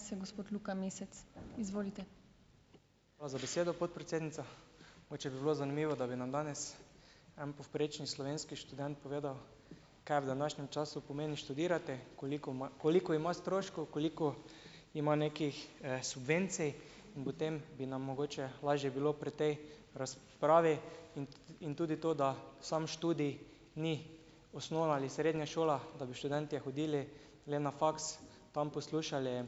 Hvala za besedo, podpredsednica, mogoče bi bilo zanimivo, da bi nam danes en povprečni slovenski študent povedal, kaj v današnjem času pomeni študirati, koli koliko ima stroškov, koliko ima nekih, subvencij in potem bi nam mogoče lažje bilo pri tej razpravi in tudi to, da sam študij ni osnovna ali srednja šola, da bi študentje hodili le na faks, tam poslušali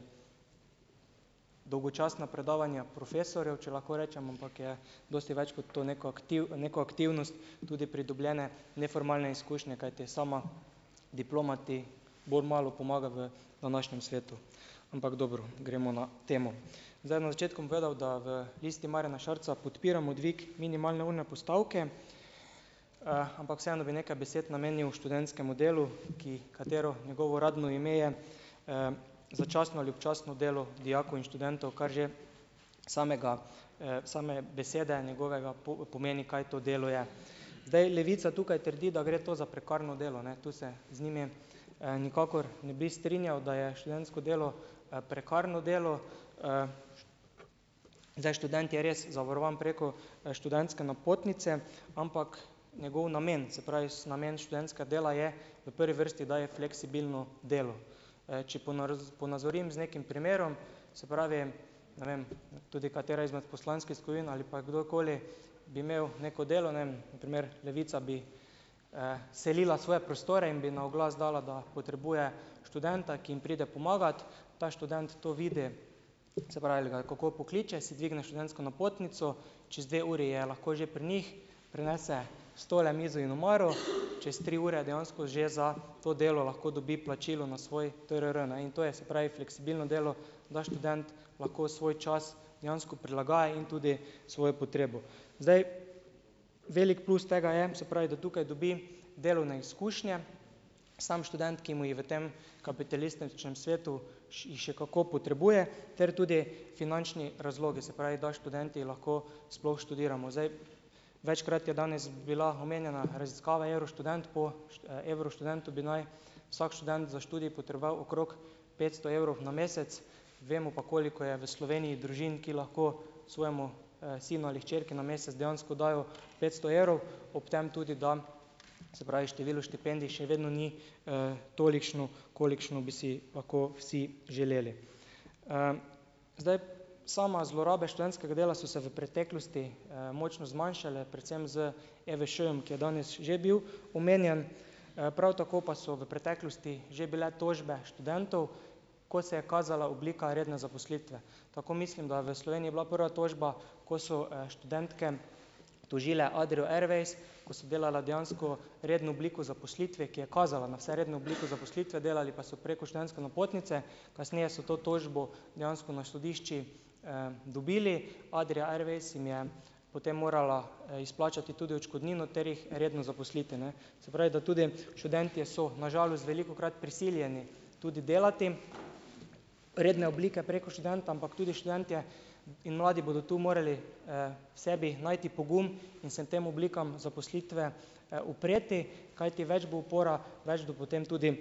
dolgočasna predavanja profesorjev, če lahko rečem, ampak je dosti več kot to, neko neko aktivnost, tudi pridobljene neformalne izkušnje, kajti sama diploma ti bolj malo pomaga v današnjem svetu, ampak dobro, gremo na temo, zdaj na začetku bom povedal, da v Listi Marjana Šarca podpiramo dvig minimalne urne postavke, ampak vseeno bi nekaj besed namenil študentskemu delu, ki katero njegovo uradno ime je, začasno ali občasno delo dijakov in študentov, kar že samega, same besede njegovega pomeni, kaj to delo je, zdaj Levica tukaj trdi, da gre to za prekarno delo, ne, to se z njimi, nikakor ne bi strinjal, da je študentsko delo, prekarno delo, zdaj, študent je res zavarovan preko študentske napotnice, ampak njegov namen, se pravi, namen študentskega dela, je v prvi vrsti, da je fleksibilno delo, če ponazorim z nekim primerom, se pravi, ne vem, tudi katera izmed poslanskih skupin ali pa kadar koli bi imel neko delo, ne vem, primer, Levica bi, selila svoje prostore in bi na oglas dala, da potrebuje študenta, ki jim pride pomagat, ta študent to vidi, se pravi, ga kako pokliče, si dvigne študentsko napotnico, čez dve uri je lahko že pri njih, prinese stole, mizo in omaro, čez tri ure dejansko že za to delo lahko dobi plačilo na svoj TRR, ne, in to je, se pravi, fleksibilno delo, da študent lahko svoj čas dejansko prilagaja in tudi svojo potrebo zdaj, velik plus tega je, se pravi, da tukaj dobi delovne izkušnje sam študent, ki mu je v tem kapitalističnem svetu in še kako potrebuje, ter tudi finančni razlogi, se pravi, da študenti lahko sploh študiramo, zdaj, večkrat je danes bila omenjena raziskava Evroštudent, po Evroštudentu bi naj vsak študent za študij potreboval okrog petsto evrov na mesec, vemo pa, koliko je v Sloveniji družin, ki lahko svojemu, sinu ali hčerki na mesec dejansko dajo petsto evrov, ob tem tudi dam, se pravi, število štipendij še vedno ni, tolikšno, kolikšno bi si lahko vsi želeli, zdaj same zlorabe študentskega dela so se v preteklosti, močno zmanjšale predvsem z EVŠ-jem, ki je danes že bil omenjen, prav tako pa so v preteklosti že bile tožbe študentov, ko se je kazala oblika redne zaposlitve, tako mislim, da je v Sloveniji bila prva tožba, kot so, študentke tožile Adrio Airways, ko so delale dejansko redno obliko zaposlitve, ki je kazala na vse redne oblike zaposlitve, delali pa so preko študentske napotnice, kasneje so to tožbo dejansko na sodišču, dobili Adria Airways jim je potem morala izplačati tudi odškodnino ter jih redno zaposliti, ne, se pravi, da tudi študentje so na žalost velikokrat prisiljeni tudi delati redne oblike preko študenta, ampak tudi študentje in mladi bodo tu morali, v sebi najti pogum in se tem oblikam zaposlitve, upreti, kajti več bo upora, več bo potem tudi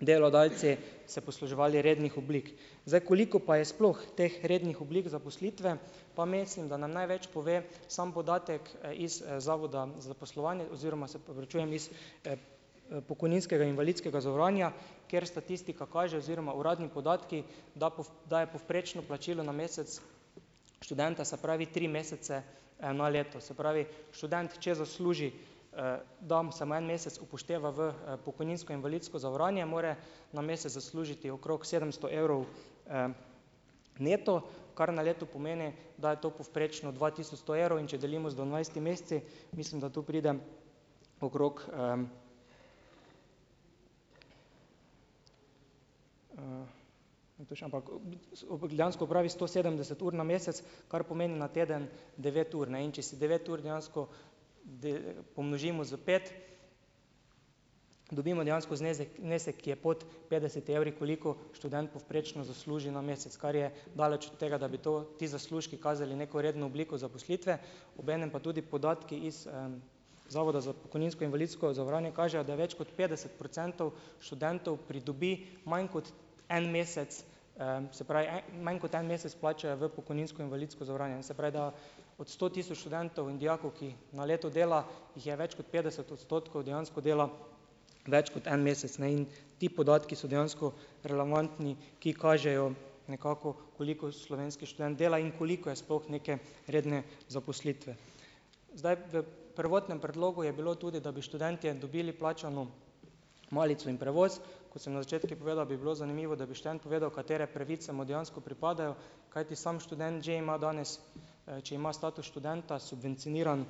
delodajalci se posluževali rednih oblik, zdaj, koliko pa je sploh teh rednih oblik zaposlitve, pa mislim, da nam največ pove sam podatek iz zavoda zaposlovanje, oziroma se opravičujem, iz, pokojninskega invalidskega zavarovanja, ker statistika kaže oziroma uradni podatki, da da je povprečno plačilo na mesec študenta, se pravi tri mesece, na leto, se pravi, študent, če zasluži, dam samo en mesec upošteva v, pokojninsko invalidsko zavarovanje, mora na mesec zaslužiti okrog sedemsto evrov, neto, kar na leto pomeni, da je to povprečno dva tisoč sto evrov, in če delimo z dvanajstimi meseci, mislim, da tu pride okrog, dejansko opravi sto sedemdeset ur na mesec, kar pomeni na teden devet ur, ne, in če si devet ur dejansko pomnožimo s pet, dobimo dejansko znezek znesek, ki je pod petdeset evri, koliko študent povprečno zasluži na mesec, kar je daleč od tega, da bi to ti zaslužki kazali neko redno obliko zaposlitve, obenem pa tudi podatki iz, zavoda za pokojninsko invalidsko zavarovanje kažejo, da je več kot petdeset procentov študentov pridobi manj kot en mesec, se pravi manj kot en mesec plačajo v pokojninsko invalidsko zavarovanje, se pravi, da od sto tisoč študentov in dijakov, ki na leto dela, jih je več kot petdeset odstotkov dejansko dela več kot en mesec, ne, in ti podatki so dejansko relevantni, ki kažejo nekako, koliko slovenski študent dela in koliko je sploh neke redne zaposlitve, zdaj, v prvotnem predlogu je bilo tudi, da bi študentje dobili plačano malico in prevoz, kot sem na začetku povedal, bi bilo zanimivo, da bi študent povedal, katere pravice mu dejansko pripadajo, kajti samo študent že ima danes, če ima status študenta subvencioniran,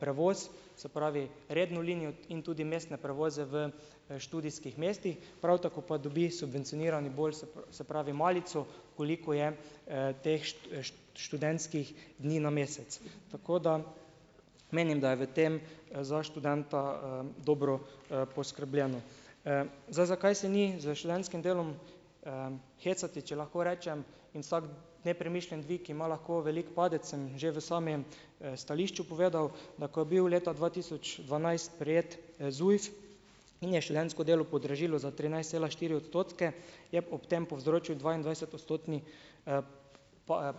prevoz, se pravi, redno linijo in tudi mestne prevoze v, študijskih mestih, prav tako pa dobi subvencionirani bolj, se pravi, malico, koliko je, teh študentskih dni na mesec, tako da menim, da v tem za študenta, dobro, poskrbljeno, zdaj, zakaj se ni s študentskim delom, hecati, če lahko rečem, in vsak nepremišljen dvig ima lahko velik padec, sem že v samem, stališču povedal, da ko je bil leta dva tisoč dvanajst prejet, ZUJF in je študentsko delo podražilo za trinajst cela štiri odstotke, je ob tem povzročil dvaindvajsetodstotni,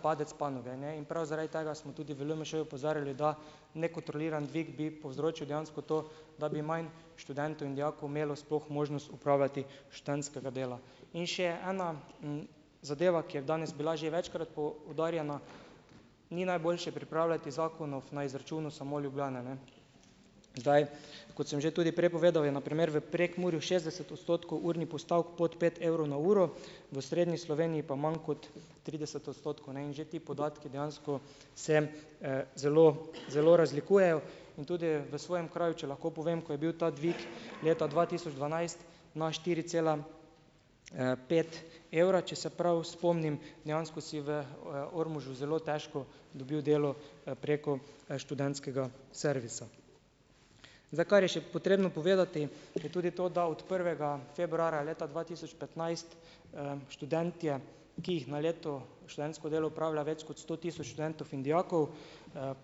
padec panoge, ne, in prav zaradi tega smo tudi v LMŠ opozarjali, da nekontroliran dvig bi povzročil dejansko to, da mi manj študentov in dijakov imelo sploh možnost opravljati študentskega dela, in še ena, zadeva, ki je danes bila že večkrat poudarjena, ni najboljše pripravljati zakonov na izračunu samo Ljubljane, ne, zdaj, kot sem že tudi prej povedal, je na primer v Prekmurju šestdeset odstotkov urnih postavk pod pet evrov na uro, v osrednji Sloveniji pa manj kot trideset odstotkov, ne, in že ti podatki dejansko se, zelo, zelo razlikujejo in tudi v svojem kraju, če lahko povem, ko je bil ta dvig leta dva tisoč dvanajst na štiri cela, pet evra, če se prav spomnim, dejansko si v Ormožu zelo težko dobil delo preko študentskega servisa, zdaj, kar je še potrebno povedati je tudi to, da od prvega februarja leta dva tisoč petnajst, študentje, ki jih na leto študentsko delo opravlja več kot sto tisoč študentov in dijakov,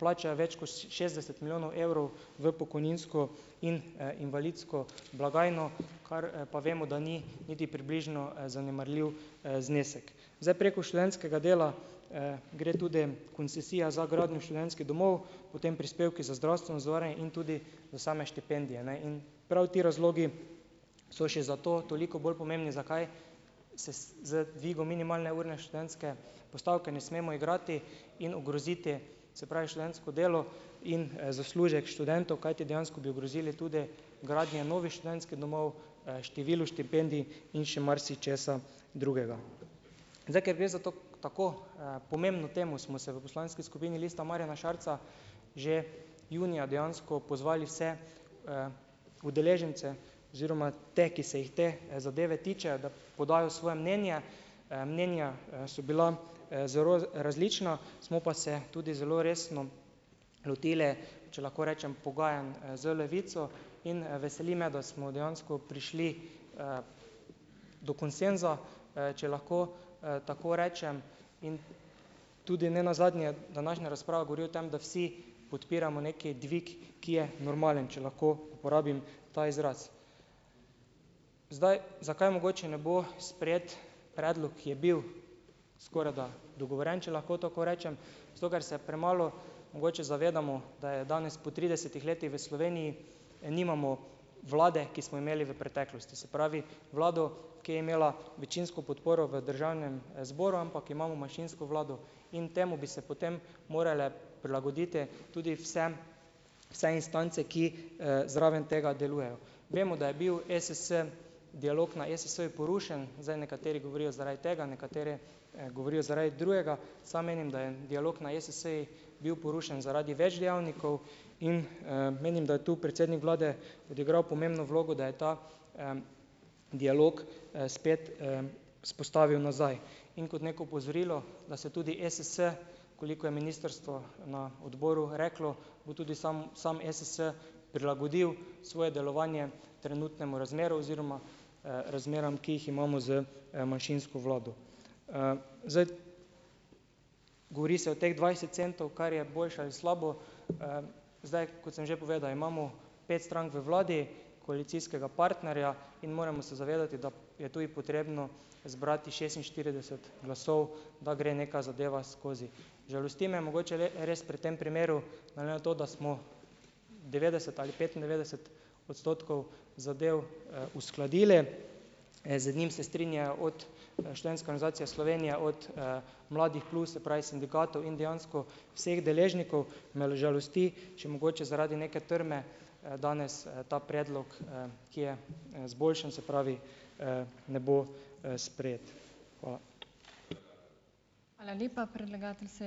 plača je več kot šestdeset milijonov evrov v pokojninsko in, invalidsko blagajno, kar pa vemo, da ni niti približno, zanemarljiv, znesek, zdaj preko študentskega dela, gre tudi koncesija za gradnjo študentskih domov, potem prispevki za zdravstveno zavarovanje in tudi za same štipendije, ne, in prav ti razlogi so še za to toliko bolj pomembni, zakaj se z, z dvigom minimalne urne študentske postavke ne smemo igrati in ogroziti, se pravi, študentsko delo in, zaslužek študentov, kajti dejansko bi ogrozili tudi gradnje novih študentskih domov, število štipendij in še marsičesa drugega, zdaj, kaj ve za to, tako, pomembno temo, smo se v poslanski skupini lista Marjana Šarca že junija dejansko pozvali vse, udeležence oziroma te, ki se jih te zadeve tičejo, da podajo svoje mnenje, mnenja, so bila, zelo različna, smo pa se tudi zelo resno lotili, če lahko rečem, pogajanj z Levico, in veseli me, da smo dejansko prišli, do konsenza, če lahko, tako rečem, tudi nenazadnje današnja razprava govori o tem, da vsi podpiramo neki dvig, ki je normalen, če lahko uporabim ta izraz, zdaj, zakaj mogoče ne bo sprejet predlog, ki je bil skorajda dogovorjeno, če lahko tako rečem, zato ker se premalo mogoče zavedamo, da je danes po tridesetih letih v Sloveniji nimamo vlade, ki smo imeli v preteklosti, se pravi, vlado, ki je imela večinsko podporo v državnem zboru, ampak imamo manjšinsko vlado, in temu bi se potem morale prilagoditi tudi vse vse instance, ki, zraven tega delujejo, vemo, da je bil ESS, dialog na ESS-ju porušen, zdaj nekateri govorijo zaradi tega, nekateri govorijo zaradi drugega, samo menim, da je dialog na ESS-ju bil porušen zaradi več dejavnikov in, menim, da je to predsednik vlade odigral pomembno vlogo, da je ta, dialog, spet, vzpostavil nazaj, in kot neko opozorilo, da se tudi ESS, koliko je ministrstvo na odboru reklo, bo tudi sam, sam ESS prilagodil svoje delovanje trenutnemu razmerju oziroma, razmeram, ki jih imamo z, manjšinsko vlado, zdaj, govori se o teh dvajset centov, kar je boljše ali je slabo, zdaj, kot sem že povedal, imamo pet strank v vladi koalicijskega partnerja in moramo se zavedati, da je tudi potrebno zbrati šestinštirideset glasov, da gre neka zadeva skozi, žalosti me mogoče res pri tem primeru, glede na to, da smo devetdeset ali petindevetdeset odstotkov zadev, uskladili, z njim se strinjajo od Študentske organizacije Slovenije, od Mladih plus, se pravi sindikatov, in dejansko vseh deležnikov, me užalosti, če mogoče zaradi neke trme, danes, ta predlog, ki je, izboljšan, se pravi, ne bo, sprejeti. Hvala.